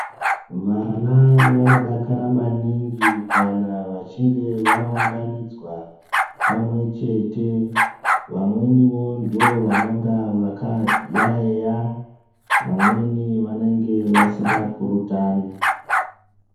Vana vanodakara maningi kana vachinge vaunganidzwa pamwe chete vamweniwo ndivo vanenge vakayauya vamweni vanenge vasingapurutani.